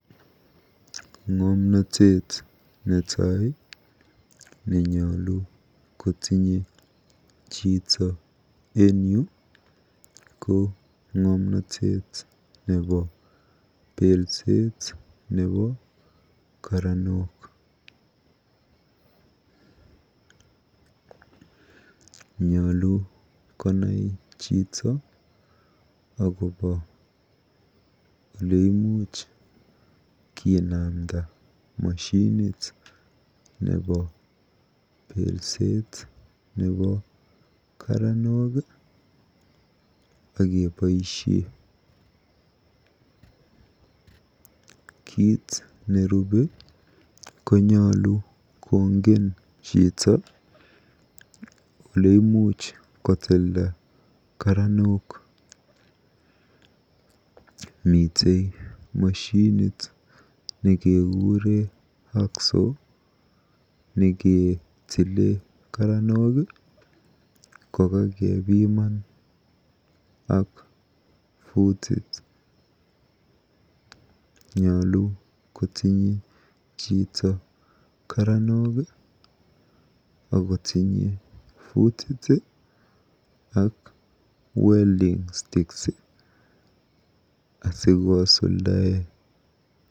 Ng'omnotet netai nenyolu kotinye chito en yu ko ng'omnotet nebo belset nebo karanok. Nyolu konai chito akobo oleimuch kinamda moshinit nebo belset nebo karanok akeboisie. Kiit nerubei konyolu kongen chito oleimuch kotilda karanok. Mitei moshinit nekekure hacksaw nekitile kokakepiman ak futit. Nyolu kotinye chito karanok akotinye futit ak welding sticks asikosuldae.